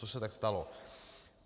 Což se tak stalo.